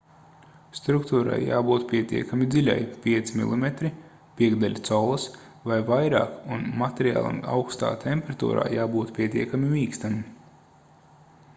struktūrai jābūt pietiekami dziļai 5 mm 1/5 collas vai vairāk un materiālam aukstā temperatūrā jābūt pietiekami mīkstam